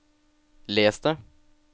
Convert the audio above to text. les det